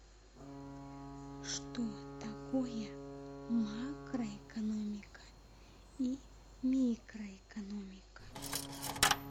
что такое макроэкономика и микроэкономика